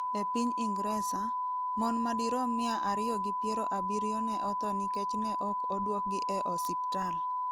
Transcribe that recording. E piny Ingresa, mon madirom mia ariyo gi piero abirio ne otho nikech ne ok odwokgi e osiptal.